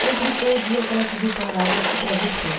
Complicou o dia que ela pediu parágrafo e travessão.